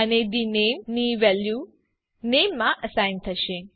અને the name ની value નામે માં અસાઇન થશે